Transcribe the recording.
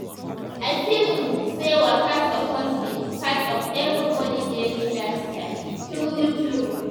I feel um sey waka suppose be everybody daily lifestyle true true